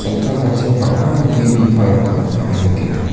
chamtangtangchi bang·a gue bipangrangkoba ah nikenga.